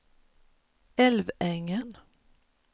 Älvängen